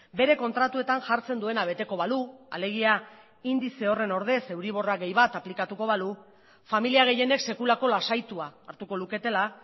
bere kontratuetan jartzen duena beteko balu alegia indize horren ordez euriborra gehi bat aplikatuko balu familia gehienek sekulako lasaitua hartuko luketela